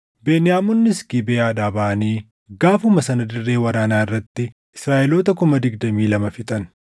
Beniyaamonnis Gibeʼaadhaa baʼanii gaafuma sana dirree waraanaa irratti Israaʼeloota kuma digdamii lama fixan.